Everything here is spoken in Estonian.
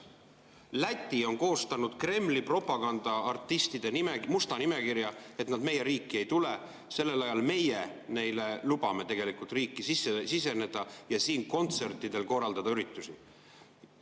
Läti on koostanud Kremli propagandaartistide musta nimekirja, et nad nende riiki ei tuleks, samal ajal meie lubame neil riiki siseneda ja siin korraldada kontserte ja üritusi.